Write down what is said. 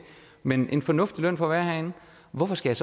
men vi får en fornuftig løn for at være herinde hvorfor skal